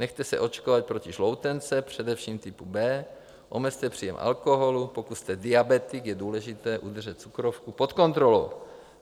Nechte se očkovat proti žloutence, především typu B; omezte příjem alkoholu; pokud jste diabetik, je důležité udržet cukrovku pod kontrolou;